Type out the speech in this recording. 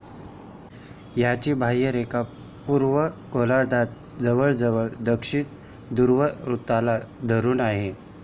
याची बाह्यरेषा पूर्व गोलार्धात जवळजवळ दक्षिण ध्रुववृत्ताला धरून आहे.